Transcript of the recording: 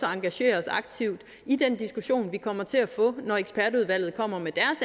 engagere os aktivt i den diskussion vi kommer til at få når ekspertudvalget kommer med